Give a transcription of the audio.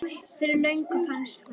Fyrir löngu fannst honum.